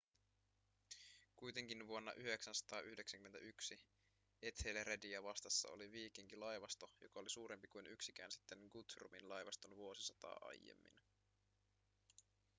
kuitenkin vuonna 991 ethelrediä vastassa oli viikinkilaivasto joka oli suurempi kuin yksikään sitten guthrumin laivaston vuosisataa aiemmin